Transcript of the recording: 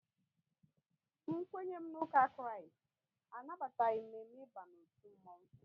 N kwenye m n'uka Kristi anabataghị mme mme ịba n'otu mmonwu